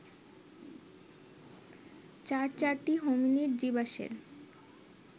চার চারটি হোমিনিড জীবাশ্মের